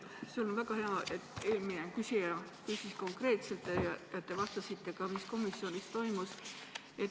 See on väga hea, et eelmine küsija küsis konkreetselt ja te vastasite ka, mis komisjonis toimus.